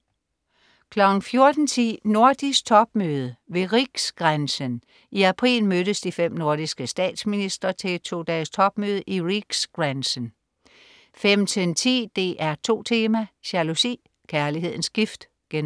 14.10 Nordisk topmøde ved "RIKSGRÄNSEN". I april mødtes de fem nordiske statsministre til et todages topmøde i "Riksgränsen" 15.10 DR2 Tema: Jalousi, kærlighedens gift* 15.11